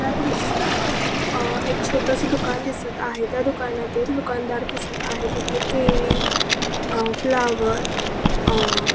या दृश्यात अं एक छोटसं दुकान दिसत आहे त्या दुकानातील दुकानदार दिसत आहे तेथे केळी अं फ्लॉवर अं --